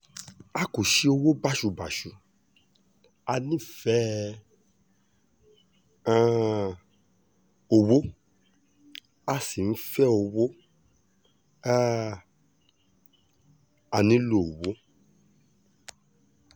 a kò ṣe owó báṣubàṣu a nífẹ̀ẹ́ um owó a sì ń fẹ́ owó um a nílò owó